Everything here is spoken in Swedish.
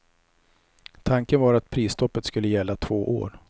Tanken var att prisstoppet skulle gälla två år.